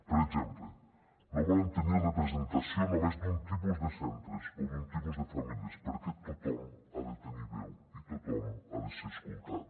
per exemple no volem tenir representació només d’un tipus de centres o d’un tipus de famílies perquè tothom hi ha de tenir veu i tothom hi ha de ser escoltat